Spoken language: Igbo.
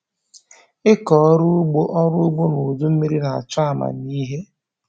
Ịkọ ọrụ ugbo ọrụ ugbo n'udu mmiri na-achọ amamihe